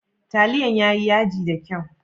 Taliyan ya ji yaji da kyau?